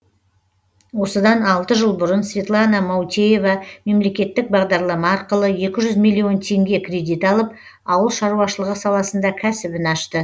осыдан алты жыл бұрын светлана маутеева мемлекеттік бағдарлама арқылы екі жүз миллион теңге кредит алып ауыл шаруашылығы саласында кәсібін ашты